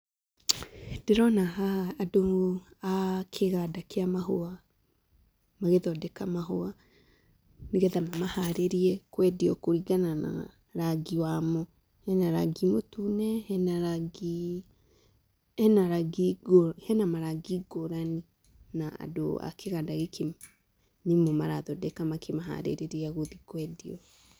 Ndĩrona haha andũ a kĩganda kĩa mahũa magĩthondeka mahũa, nĩgetha mamaharĩrĩrie kwendio kũringana na rangi wamo. Hena rangi mũtune, hena marangi ngũrani, na andũ a kũganda gĩkĩ nĩo marathondeka makĩmaharirĩria gũthiĩ kwendio.